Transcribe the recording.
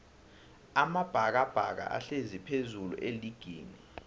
amabhakabhaka ahlezi phezullu eligini